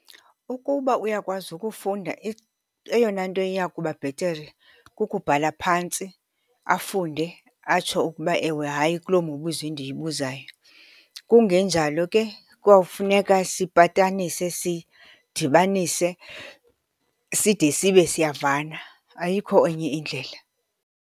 Ukuba uyakwazi ukufunda eyona nto eyakuba bhetere kukubhala phantsi afunde, atsho ukuba ewe hayi kuloo mibuzo ndiyibuzayo. Kungenjalo ke kuyawufuneka sipatanise sidibanise, side sibe siyavana. Ayikho enye indlela.